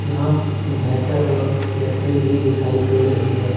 यहां इनवर्टर और बैटरी भी दिखाई दे रही है।